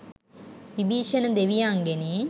Vibhishana දෙවියන්ගෙනි.